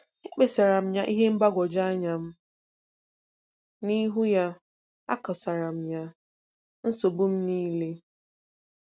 E kpesaram ya ihe mgbagwoju anya m, n'ihu ya, akosara m ya, nsogbu m niile.